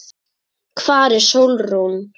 Hvar er Sólrún?